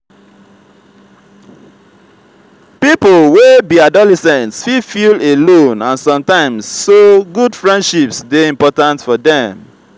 pipo wey be adolescents fit feel alone sometimes so good friendships dey important for dem.